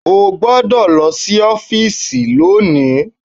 O gbọ́dọ̀ lọ sí ọ́fìsì lónìí